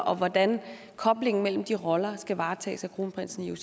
og hvordan koblingen mellem de roller skal varetages af kronprinsen